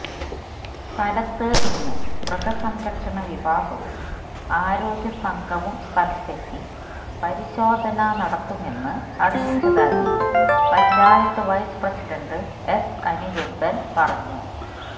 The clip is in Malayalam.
സ്ഥലത്ത് ഇന്ന് മൃഗസംരക്ഷണ വിഭാഗവും ആരോഗ്യസംഘവും സ്ഥലത്തെത്തി പരിശോധന നടത്തുമെന്ന് അറിയിച്ചതായി panchayat vice president S Anirudhan പറഞ്ഞു